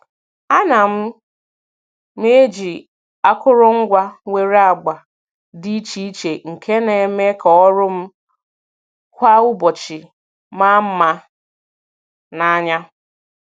A na m m eji akụrụngwa nwere agba dị iche iche nke na - eme ka ọrụ m kwa ụbọchị maa mma n'anya.